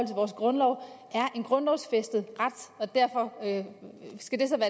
vores grundlov er en grundlovsfæstet ret derfor skal de